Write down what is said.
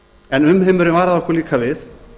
en umheimurinn varaði okkur líka við